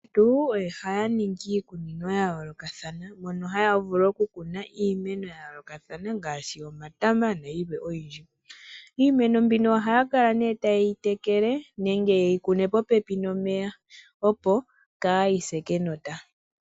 Aantu ohaya ningi iikunino yayoolokathana mono haya vulu okukuna iimeno yayoolokathana ngaashi omatama nayilwe oyindji. Iimeno mbino ohaya kala tayeyi tekele nenge yeyi kune popepi nomeya opo kaayi se kenota.